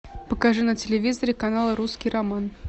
покажи на телевизоре канал русский роман